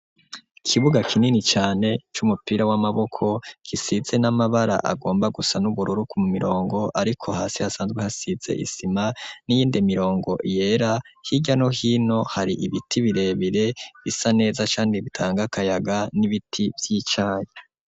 Ikibuga kinini cane c'umupira w'amaboko kisize n'amabara agomba gusa n'ubururu ku mirongo ariko hasi hasanzwe hasize isima n'iyindi mirongo yera, hirya no hino hari ibiti birebire bisa neza kandi bitanga akayaga n'ibiti vy'icayi.